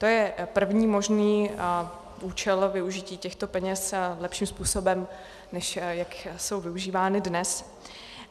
To je první možný účel využití těchto peněz lepším způsobem, než jak jsou využívány dnes.